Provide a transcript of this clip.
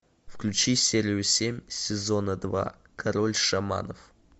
включи серию семь сезона два король шаманов